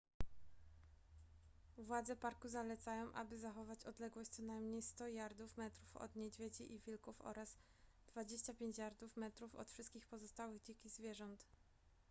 władze parku zalecają aby zachować odległość co najmniej 100 jardów/metrów od niedźwiedzi i wilków oraz 25 jardów/metrów od wszystkich pozostałych dzikich zwierząt!